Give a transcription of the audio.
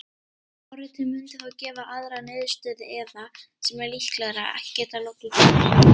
Forritið mundi þá gefa aðra niðurstöðu eða, sem er líklegra, ekki geta lokið keyrslu.